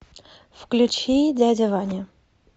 включи дядя ваня